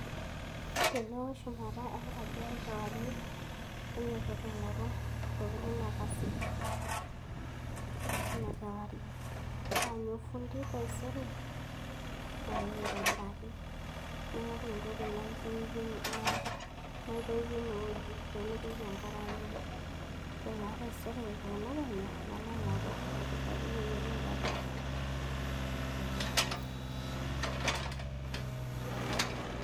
Teneo shumata enkaji ai kewarie, nainyototo aing'oru intokiting' nakasie, tina kewarie. Naanyu ofundi taisere maeu aitobiraki. Naing'oru entoki naitoipie inewueji pemitoki enkare aimu. Ore naa taisere tenekenyu, nalo aing'oru orkitarri oyiolo aitobira. Ee.